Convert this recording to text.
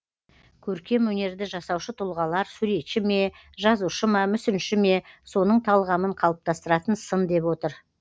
көркем өнерді жасаушы тұлғалар суретші ме жазушы ма мүсінші ме соның талғамын қалыптастыратын сын деп отыр